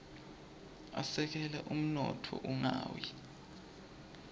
asekela umnotfo ungawi